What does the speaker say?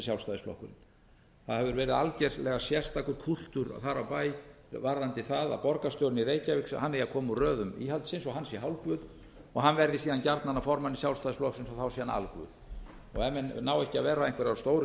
sjálfstæðisflokkurinn það hefur verið algerlega sérstakur kúltúr þar á bæ varðandi það að borgarstjórinn í reykjavík hann eigi að koma úr röðum íhaldsins og hann sé hálfguð og hann verði síðan gjarnan að formanni sjálfstæðisflokksins og þá sé hann alguð ef menn ná ekki að vera einhver af stóru